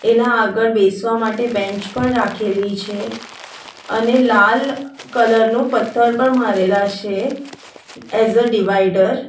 એના આગળ બેસવા માટે બેન્ચ પણ રાખેલી છે અને લાલ કલર નું પથ્થર પણ મારેલા છે એસ અ ડિવાઇડર .